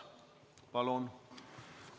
Palun!